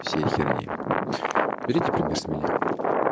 все херни берите пример с меня